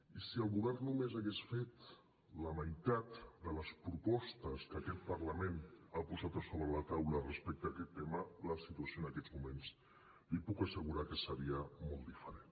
i si el govern només hagués fet la meitat de les propostes que aquest parlament ha posat a sobre la taula respecte a aquest tema la situació en aquests moments li puc assegurar que seria molt diferent